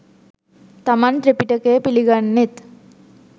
තමන් ත්‍රිපිටකය පිළිගන්නෙත්